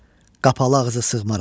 Qapalı ağzə sığmaram.